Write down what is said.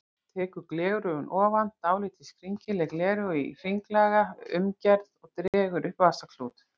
Tekur gleraugun ofan, dálítið skringileg gleraugu í hringlaga umgerð og dregur upp vasaklút.